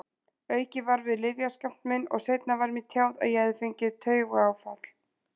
Aukið var við lyfjaskammt minn og seinna var mér tjáð að ég hefði fengið taugaáfall.